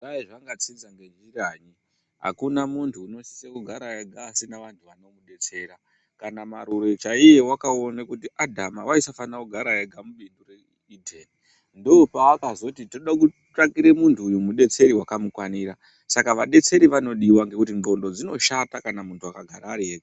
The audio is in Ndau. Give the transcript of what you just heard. Dai zvakatsinza nenjirayi akuna munhu unosise kugara ega asina vanhu vanomudetsera kana Marure chaiye wakaona kuti Adama waisafane kugara ega mibindu reEden ndopaakzoti tode kutsvakire muntu uyu mudetseri wakamukwanira saka vadetseri vanodiwa ngekuti nxlondo dzinoshata kana mungu akagara ariega.